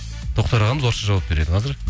тоқтар ағамыз орысша жауап береді қазір